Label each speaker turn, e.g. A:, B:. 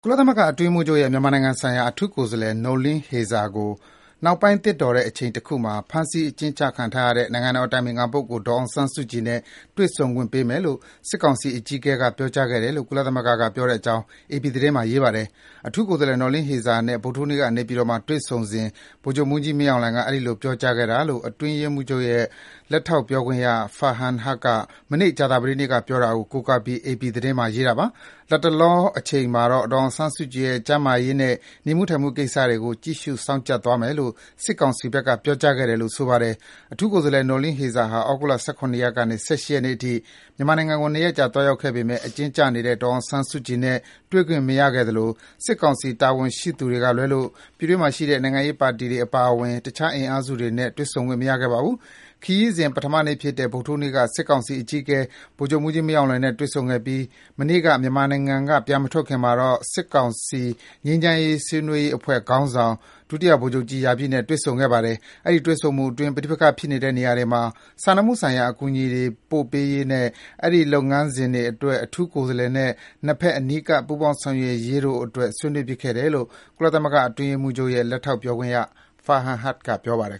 A: ကုလသမဂ္ဂအတွင်းရေးမှူးချုပ်ရဲ့ မြန်မာနိုင်ငံဆိုင်ရာ အထူးကိုယ်စားလှယ် Noeleen Heyzer ကို နောက်ပိုင်း သင့်တော် တဲ့အချိန်တခုမှာ ဖမ်းဆီးအကျဉ်းချခံထားရတဲ့ နိုင်ငံတော်အတိုင်ပင်ခံပုဂ္ဂိုလ် ဒေါ်အောင်ဆန်းစုကြည်နဲ့ တွေ့ဆုံခွင့်ပေးမယ်လို့ စစ်ကောင်စီအကြီးအကဲက ပြောကြားခဲ့တယ်လို့ ကုလသမဂ္ဂက ပြောတဲ့အကြောင်း အေပီသတင်းမှာ ရေးပါတယ်။ အထူးကိုယ်စားလှယ် Noeleen Heyzer နဲ့ ဗုဒ္ဓဟူးနေ့က နေပြည်တော်မှာတွေ့ဆုံစဉ် ဗိုလ်ချုပ်မှူးကြီး မင်းအောင်လှိုင်က အဲဒီလို ပြောကြားခဲ့တာလို့ အတွင်းရေးမှူးချုပ်ရဲ့ လက်ထောက် ပြောခွင့်ရ Farhan Haq က မနေ့ ကြာသပတေးနေ့က ပြောတာကို ကိုးကားပြီး အေပီသတင်းမှာ ရေးပါတယ်။ လတ်တလောအချိန်မှာတော့ ဒေါ်အောင်ဆန်းစုကြည်ရဲ့ ကျန်းမာရေးနဲ့ နေမှုထိုင်မှုကိစ္စတွေကို ကြည့်ရှုစောင့်ကြပ်သွားမယ်လို့ စစ်ကောင်စီဘက်က ပြောကြားခဲ့တယ်လို့ ဆိုပါတယ်။ အထူးကိုယ်စားလှယ် Noeleen Heyzer ဟာ သြဂုတ်လ ၁၇ ရက်ကနေ ၁၈ ရက်နေ့အထိ မြန်မာနိုင်ငံကို ၂ ရက် ကြာသွားရောက်ခဲ့ပေမယ့် အကျဉ်းကျနေတဲ့ ဒေါ်အောင်ဆန်းစုကြည်နဲ့ တွေ့ခွင့်မရခဲ့သလို စစ်ကောင်စီ တာဝန်ရှိသူတွေကလွဲလို့ ပြည်တွင်းမှာရှိတဲ့ နိုင်ငံရေးပါတီတွေ အပါအဝင် တခြား အင်အားစုတွေနဲ့ တွေ့ဆုံခွင့် မရခဲ့ပါဘူး။ ခရီးစဉ် ပထမနေ့ဖြစ်တဲ့ ဗုဒ္ဓဟူးနေ့က စစ်ကောင်စီအကြီးအကဲ ဗိုလ်ချုပ်မှူးကြီးမင်းအောင်လှိုင်နဲ့ တွေ့ဆုံခဲ့ပြီး မနေ့က မြန်မာနိုင်ငံက ပြန်မထွက်ခွာခင်မှာတော့ စစ်ကောင်ငြိမ်းချမ်းရေးဆွေးနွေးရေးအဖွဲ့ခေါင်းဆောင် ဒုတိယ ဗိုလ်ချုပ်ကြီး ရာပြည့်နဲ့ တွေ့ဆုံခဲ့ပါတယ်။ အဲဒီ တွေ့ဆုံမှုအတွင်း ပဋိပက္ခဖြစ်နေတဲ့ နေရာတွေမှာ စာနာမှုဆိုင်ရာ အကူအညီတွေပေးပို့ရေးနဲ့ အဲဒီ လုပ်ငန်းစဉ်အတွက် အထူးကိုယ်စားလှယ်နဲ့ နှစ်ဘက် အနီးကပ် ပူးပေါင်း ဆောင်ရွက်ရေးတို့အတွက် ဆွေးနွေးဖြစ်ခဲ့တယ်လို့ ကုလသမဂ္ဂအတွင်းရေးမှူးချုပ်ရဲ့ လက်ထောက် ပြောခွင့်ရ Farhan Haq က ပြောပါတယ်